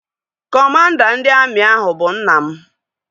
Kọmanda ndị amị ahụ bụ nna m